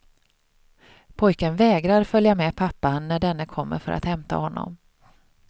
Pojken vägrar följa med pappan när denne kommer för att hämta honom.